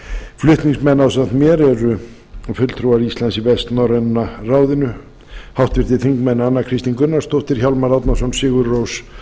flutningsmenn ásamt mér eru fulltrúar íslands í vestnorræna ráðinu háttvirtir þingmenn anna kristín gunnarsdóttir hjálmar árnason sigurrós